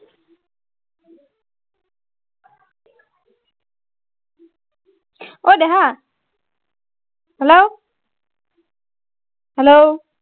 অই দেহা hello hello